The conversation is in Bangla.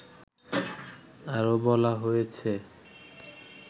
আরো বলা হয়েছে